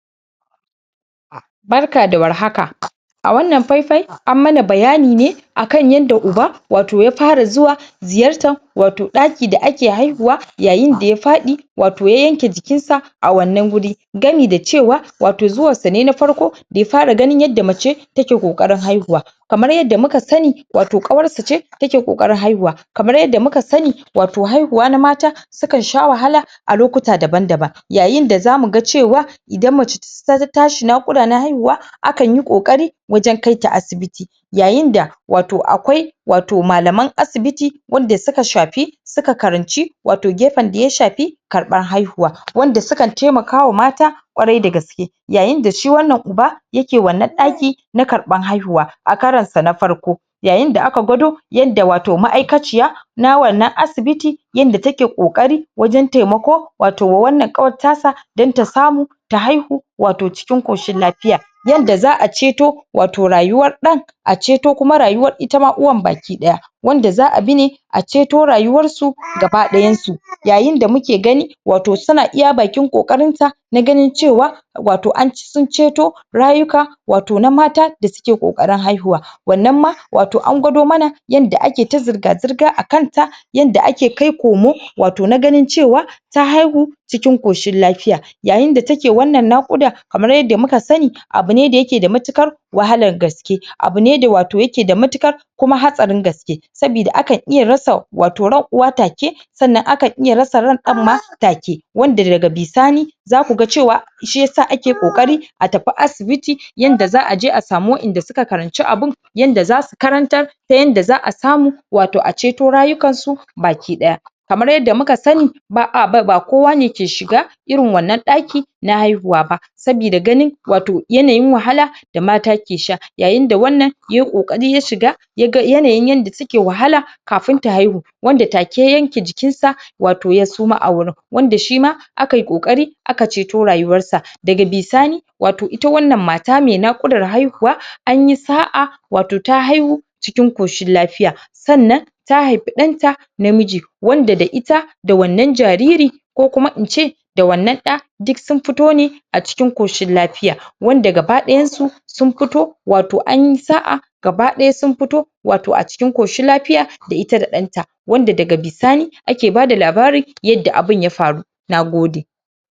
Barka da war haka, a wannan fai-fai an mana bayani ne akan yanda uba wato ya fara zuwa ziyartan wato ɗaki da ake haihuwa yayinda ya faɗi wato ya yanke jikin sa a wannan guri. Gami da cewa wato zuwansa ne na farko daya fara ganin yadda mace ta ke ƙoƙarin haihuwa. Kamar yadda muka sani, wato ƙawarsu ce ta ke ƙoƙarin haiuwa. Kamar yadda muka sani wato haihuwa na mata sukan sha wahala a lokuta daban-daban. Yayinda za muga cewa idan mace ta tashi naƙuda na haihuwa akanyi ƙoƙari wajan kaita asibiti. Yayinda wato akwai wato malaman asibiti wanda suka shapi suka karanci wato gefen daya shapi karɓan haihuwa. Wanda sukan taimakawa mata ƙwarai da gaske. Yayinda shi wannan uba yake wannan ɗaki na karɓan haihuwa, a karansa na farko. Yayinda aka gwado yadda wato ma'aikaciya na wannan asibiti yanda ta ke ƙoƙari wajan taimako wato wannan kawar tasa dan ta samu ta haihu wato cikin ƙoshin lapiya. Yanda za'a ceto wato rayuwar ɗan a ceto kuma rayuwar ita ma uwan baki ɗaya, wanda za'a bi ne a ceto rayuwar su gaba ɗayansu. Yayinda muke gani wato suna iya bakin ƙoƙarin ta na ganin cewa wato an sun ceto rayuka wato na mata da suke ƙoƙarin haihuwa. Wannan ma wato an gwado mana yanda ake ta zirga-zirga akan ta yanda ake kaikomo wato na ganin cewa ta haihu cikin ƙoshin lapiya. Yayinda ta ke wannan naƙuda kamar yadda muka sani, abu ne da yake da matuƙar wahalan gaske, abu ne da wato yake da matuƙar kuma hatsarin gaske, sabida akan iya rasa wato ran uwa ta ke sannan akan iya rasa ran ɗan ma ta ke, wanda daga bisani za kuga cewa shiyasa ake ƙoƙari a tapi asibiti yanda za'aje a samu wa'inda suka karanci abun yanda za su karantar ta yanda za'a samu wato a ceto rayukan su baki ɗaya. Kamar yadda muka sani, ba,a ba ba kowa ne ke shiga irin wannan ɗaki na haihuwa ba. Sabida ganin wato yanayin wahala da mata ke sha. Yayinda wannan yayi ƙoƙari ya shiga ya ga yanayin yanda ta ke wahala kafin ta haihu. Wanda ta ke ya yanke jikin sa wato ya suma a wurin wanda shima akayi ƙoƙarI aka ceto rayuwar sa. Daga bisani wato ita wannan mata mai naƙudar haihuwa anyi sa'a wato ta haihu cikin ƙoshin lafiya. Sannan ta haipi ɗan ta na miji, wanda da ita da wannan jariri ko kuma in ce da wannan ɗa duk dun fito ne a cikin koshin lapiya. Wanda gaɓa ɗayan su sun pito watoanyi sa'a gaba ɗaya sun pito wato a cikin koshin lapiya da ita da ɗanta. Wanda daga bisani, ake bada labari yadda abin ya faru, nagode.